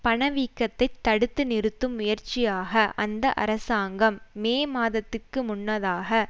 பணவீக்கத்தை தடுத்து நிறுத்தும் முயற்சியாக அந்த அரசாங்கம் மே மாதத்திற்கு முன்னதாக